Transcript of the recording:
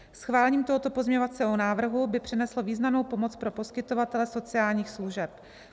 Schválením tohoto pozměňovacího návrhu by přineslo významnou pomoc pro poskytovatele sociálních služeb.